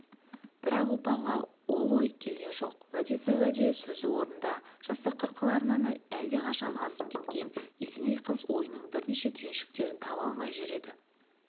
бірақ ұлпанға ол ой келген жоқ уәдесі уәде сөзі орнында жастық қырқаларынан әлде қашан асып кеткен есеней қыз ойының бірнеше түйіншектерін таба алмай жүр еді